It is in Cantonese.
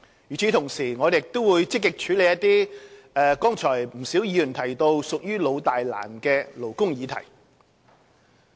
與此同時，我們亦會積極處理一些剛才不少議員提到，屬於老、大、難的勞工議題。